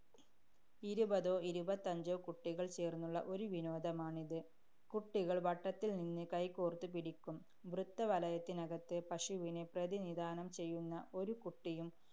ഇരുപതോ ഇരുപത്തഞ്ചോ കുട്ടികള്‍ ചേര്‍ന്നുള്ള ഒരു വിനോദമാണിത്. കുട്ടികള്‍ വട്ടത്തില്‍ നിന്ന് കൈകോര്‍ത്ത് പിടിക്കും. വൃത്തവലയത്തിനകത്ത് പശുവിനെ പ്രതിനിധാനം ചെയ്യുന്ന ഒരു കുട്ടിയും,